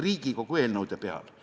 Riigikogu eelnõude põhjal.